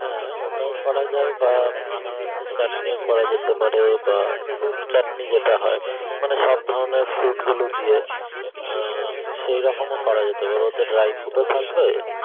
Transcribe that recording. ওটাই করা যায় বা আনারসের চাটনিও করা যেতে পারে বা fruit চাটনি যেটা হয় মানে সব ধরনের fruit গুলো দিয়ে সেরকমও করা যেতে পারে তো dry fruit থাকবে আহ